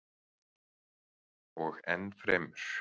Og ennfremur.